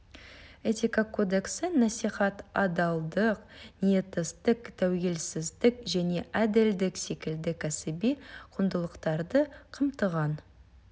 этика кодексі насихат адалдық ниеттестік тәуелсіздік және әділдік секілді кәсіби құндылықтарды қамтыған